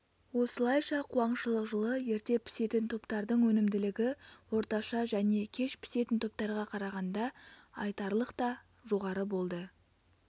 осылайша қуаңшылық жылы ерте пісетін топтардың өнімділігі орташа және кеш пісетін топтарға қарағанда айтарлықта жоғары болды